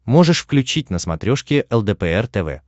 можешь включить на смотрешке лдпр тв